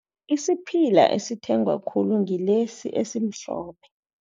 Isiphila esithengwa khulu, ngilesi esimhlophe.